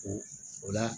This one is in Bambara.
O o la